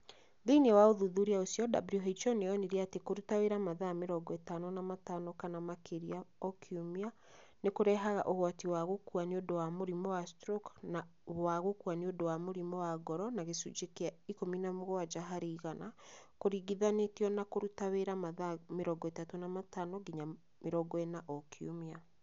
Thĩinĩ wa ũthuthuria ũcio, WHO niyonire atĩ kũruta wĩra mathaa mĩrongo ĩtano na matano kana makĩria o kiumia nĩ kũrehaga ũgwati wa gũkua nĩ ũndũ wa mũrimũ wa stroke na wa gũkua nĩ ũndũ wa mũrimũ wa ngoro na gĩcunjĩ kĩa 17 harĩ igana, kũringithanĩtio na kũruta wĩra mathaa 35 nginya 40 o kiumia.